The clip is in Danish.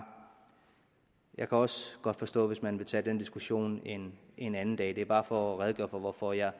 jeg kan også godt forstå hvis man vil tage den diskussion en en anden dag det er bare for at redegøre for hvorfor jeg